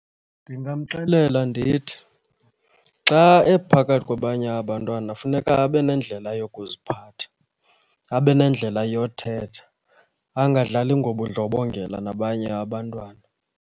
Ndingamxelela ndithi xa ephakathi kwabanye abantwana funeka be nendlela yokuziphatha, abe nendlela yothetha, angadlali ngobundlobongela nabanye abantwana.